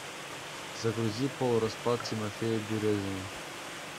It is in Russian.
загрузи полураспад тимофея березина